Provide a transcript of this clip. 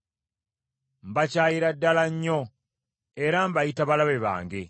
Mbakyayira ddala nnyo, era mbayita balabe bange.